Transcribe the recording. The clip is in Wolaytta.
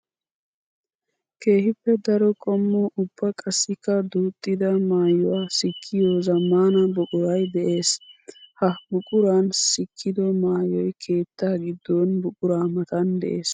Keehippe daro qommo ubba qassikka duuxxidda maayuwa sikkiyo zamaana buquray de'ees. Ha buquran sikkiddo maayoy keetta gidon buqura matan de'ees.